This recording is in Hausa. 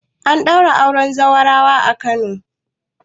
An daura auren zaurawa a Kano